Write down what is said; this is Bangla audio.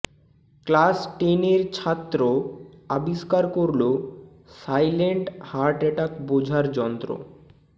ক্লাস টেনের ছাত্র আবিষ্কার করল সাইলেন্ট হার্ট অ্যাটাক বোঝার যন্ত্র